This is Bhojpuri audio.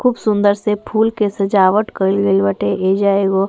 खूब सुन्दर से फूल के सजावट कइल गइल बाटे। ऐजा एगो --